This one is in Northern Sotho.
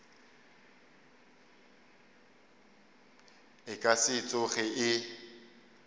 e ka se tsoge e